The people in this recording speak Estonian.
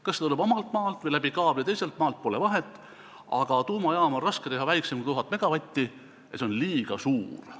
Kas see tuleb omalt maalt või läbi kaabli teiselt maalt, pole vahet, aga tuumajaama on raske teha väiksemana kui 1000 megavatti ja see on liiga suur.